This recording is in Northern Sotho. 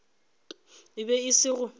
e be e se go